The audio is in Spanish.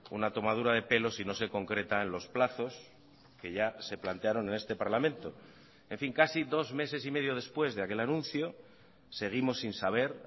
una tomadura de pelo si no se concreta en los plazos que ya se plantearon en este parlamento en fin casi dos meses y medio después de aquel anuncio seguimos sin saber